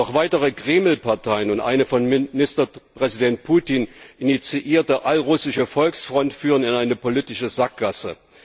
Doch weitere Kremlparteien und eine von Ministerpräsident Putin initiierte allrussische Volksfront führen in eine politische Sackgasse.